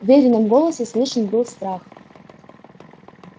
в верином голосе слышен был страх